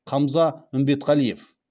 қамза үмбетқалиев